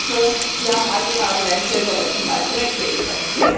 Ich hoffe, Sie haben alle Ihre Argumente in der letzten Zeit zurechtlegen können.